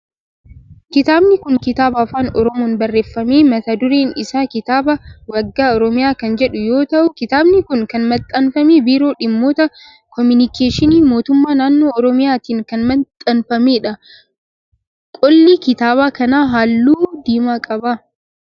Kitaabni kun kitaaba afaan oromoon barreeffame mata dureen isaa kitaaba waggaa oromiyaa kan jedhu yoo ta'u kitaabni kun kan maxxanfame biiroo dhimmoota kominikeeshinii mootummaa naannoo oromiyaatin kan maxxanfamedha. Qolli kitaaba kanaa halluu diimaa qaba.